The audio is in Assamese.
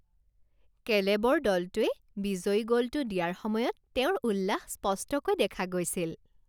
কেলেবৰ দলটোৱে বিজয়ী গ'লটো দিয়াৰ সময়ত তেওঁৰ উল্লাস স্পষ্টকৈ দেখা গৈছিল